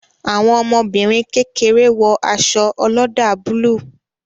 Àwọn ọmọbìnrin kékeré wo aṣọ oloda búlúù